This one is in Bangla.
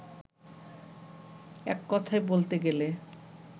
এক কথায় বলতে গেলে